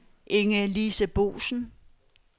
Inge-Lise Boesen